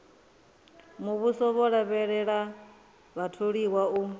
muvhuso vho lavhelela vhatholiwa u